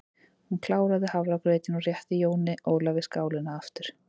Hún kláraði hafragrautinn og rétti Jóni Ólafi skálina aftur.